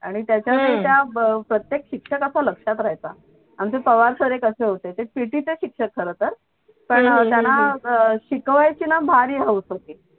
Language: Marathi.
आणि त्याच्या नाही का प्रत्येक शिक्षकाच्या लक्षात रहायचा अन ते पवार सर एक असे होते ते पीटी चे शिक्षक खरं तर पण त्यांना शिकवायची ना भारी हौस होती.